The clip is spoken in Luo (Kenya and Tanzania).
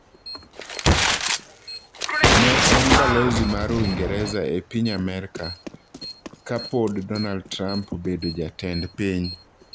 Ne en balozi mar Uingereza epiny Amerka ka pod Donald Trump obedo jatend piny.